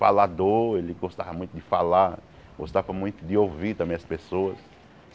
Falador, ele gostava muito de falar, gostava muito de ouvir também as pessoas.